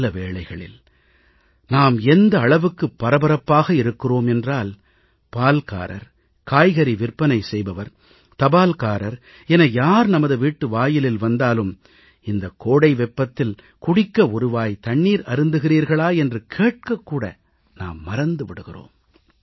சில வேளைகளில் நாம் எந்த அளவுக்கு பரபரப்பாக இருக்கிறோம் என்றால் பால்காரர் காய்கறி விற்பனை செய்பவர் தபால்காரர் என யார் நமது வீட்டு வாயிலில் வந்தாலும் இந்தக் கோடை வெப்பத்தில் குடிக்க ஒரு வாய் நீர் அருந்துகிறீர்களா என்று கேட்க கூட நாம் மறந்து போகிறோம்